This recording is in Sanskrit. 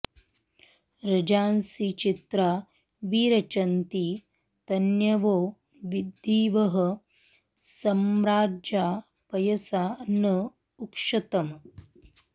रजां॑सि चि॒त्रा वि च॑रन्ति त॒न्यवो॑ दि॒वः स॑म्राजा॒ पय॑सा न उक्षतम्